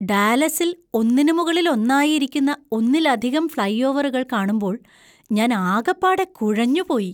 ഡാലസിൽ ഒന്നിന് മുകളിൽ ഒന്നായി ഇരിക്കുന്ന ഒന്നിലധികം ഫ്‌ളൈ ഓവറുകൾ കാണുമ്പോൾ ഞാൻ ആകപ്പാടെ കുഴഞ്ഞു പോയി.